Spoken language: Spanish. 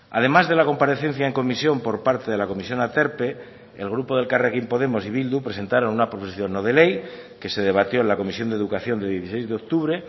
además de la comparecencia en comisión por parte de la comisión aterpe el grupo de elkarrekin podemos y bildu presentaron una proposición no de ley que se debatió en la comisión de educación de dieciséis de octubre